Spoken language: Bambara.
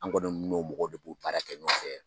An kɔni n'o mɔgɔw de b'o baara in kɛ ɲɔgɔn fɛ